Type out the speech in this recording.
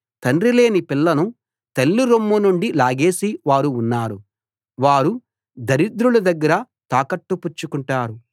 తండ్రి లేని పిల్లను తల్లి రొమ్ము నుండి లాగేసే వారు ఉన్నారు వారు దరిద్రుల దగ్గర తాకట్టు పుచ్చుకుంటారు